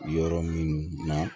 Yɔrɔ minnu na